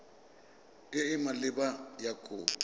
e e maleba ya kopo